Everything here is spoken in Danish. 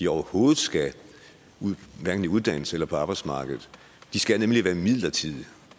overhovedet skal i uddannelse eller på arbejdsmarkedet de skal nemlig være midlertidige